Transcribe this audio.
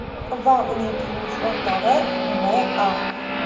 va uning turmush o‘rtog‘i M.A.